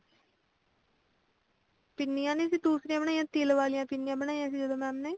ਪਿੰਨੀਆਂ ਨੀ ਸੀ ਦੂਸੀਰੀਆਂ ਬਣਾਈਆਂ ਤਿਲ ਵਾਲੀਆਂ ਪਿੰਨੀਆਂ ਬਣਾਈਆਂ ਸੀ ਜਦੋਂ mam ਨੇ